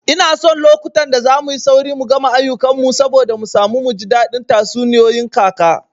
Ina son lokutan da zamuyi sauri mu gama ayukan mu saboda mu samu muji daɗin tatsuniyoyin kaka